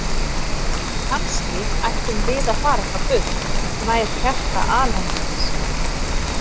Kannski ættum við að fara eitthvað burt, nær hjarta alheimsins